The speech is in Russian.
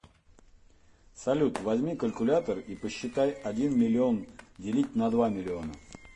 салют возьми калькулятор и посчитай один миллион делить на два миллиона